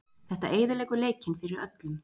Þetta eyðileggur leikinn fyrir öllum.